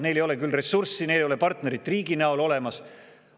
Neil ei ole küll ressurssi, neil ei ole partnerit riigi näol olemas.